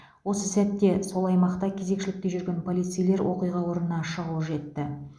осы сәтте сол аймақта кезекшілікте жүрген полицейлер оқиға орнына шұғыл жетті